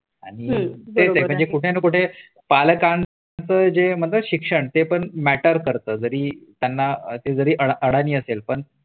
आणि फेजय म्हणजे कुठे ना कुठे पालकांच जे म्हणजे शिक्षण ते पण मँटरकरत जरी त्यांना असे जरी अडानी असेल पण